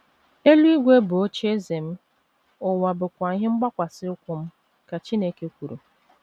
“ Eluigwe bụ ocheeze m, ụwa bụkwa ihe mgbakwasị ụkwụ m, ” ka Chineke kwuru.